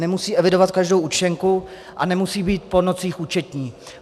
Nemusí evidovat každou účtenku a nemusí být po nocích účetní.